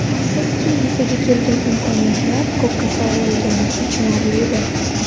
Afsuski, yuzaga kelgan imkoniyatlar ko‘kka sovurilgani achinarlidir.